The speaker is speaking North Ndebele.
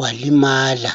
walimala